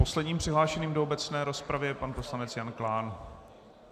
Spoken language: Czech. Posledním přihlášeným do obecné rozpravy je pan poslanec Jan Klán.